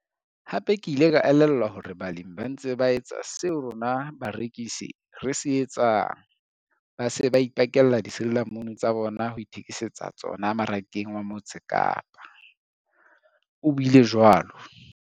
Hape ke ile ka elellwa hore balemi ba ntse ba etsa seo rona barekisi re se etsang - ba se ba ipakella disirila munu tsa bona ho ithekise tsa tsona Marakeng wa Mo tse Kapa, o buile jwalo.